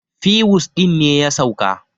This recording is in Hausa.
fiwus ɗin ne ya sauka